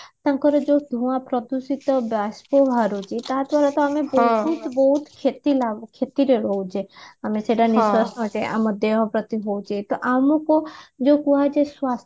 ତାଙ୍କର ଯୋଉ ଧୁଆ ପ୍ରଦୂଷିତ ବାଷ୍ପ ବାହାରୁଛି ତାହା ବହୁତ କ୍ଷତି ରେ ରହୁଛେ ଆମେ ସେଟା ନିଶ୍ଵାସ ନଉଛେ ଆମ ଦେହ ପ୍ରତି ହଉଛି ତ ଆମକୁ ଯୋଉ କୁହା ଯାଉଛି